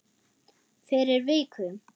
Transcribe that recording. Fyrir viku.